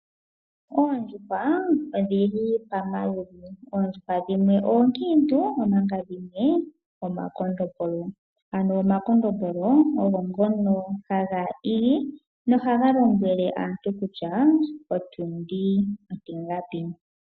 Oondjuhwa odhili pamaludhi, oondjuhwa dhimwe oonkiintu omanga dhimwe omakondombolo ano omakondombolo ogo ngono haga igi nohaga lombwele aantu kutya otundi ontingapi.